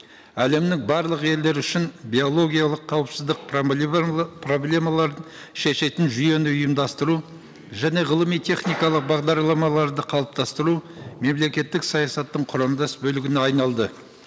әлемнің барлық елдері үшін биологиялық қауіпсіздік проблемалар шешетін жүйені ұйымдастыру және ғылыми техникалық бағдарламаларды қалыптастыру мемлекеттік саясаттың құрамдас бөлігіне айналды